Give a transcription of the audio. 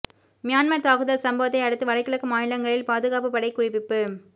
Myanmar தாக்குதல் சம்பவத்தை அடுத்து வடகிழக்கு மாநிலங்களில் பாதுகாப்பு படை குவிப்பு